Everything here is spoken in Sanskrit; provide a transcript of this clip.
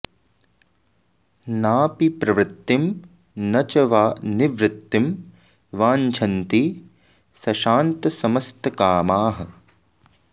नापि प्रवृत्तिं न च वा निवृत्तिं वाञ्छन्ति संशान्तसमस्तकामाः